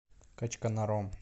качканаром